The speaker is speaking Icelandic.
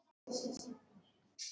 Stórar og smáar.